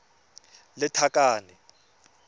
lethakane